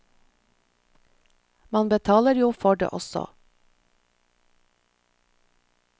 Man betaler jo for det også.